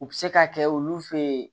U bɛ se ka kɛ olu fɛ yen